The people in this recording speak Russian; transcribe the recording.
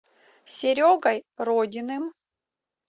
серегой родиным